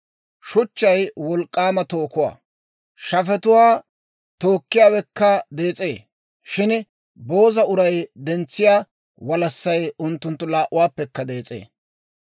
Shuchchay wolk'k'aama tookuwaa; shafetuwaa tookkiyaawekka dees'ee; shin booza uray dentsiyaa walassay unttunttu laa"uwaappekka dees'ee.